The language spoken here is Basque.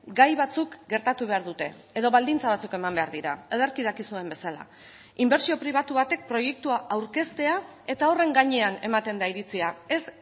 gai batzuk gertatu behar dute edo baldintza batzuk eman behar dira ederki dakizuen bezala inbertsio pribatu batek proiektua aurkeztea eta horren gainean ematen da iritzia ez